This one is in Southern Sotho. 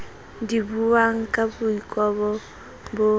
di buwang ka boikobo bo